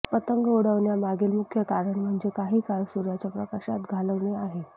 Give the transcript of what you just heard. पतंग उडविण्यामागील मुख्य कारण म्हणजे काही काळ सूर्याच्या प्रकाशात घालवणे आहे